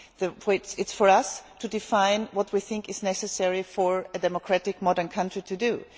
It is for us to define what we think is necessary for a democratic modern country to do.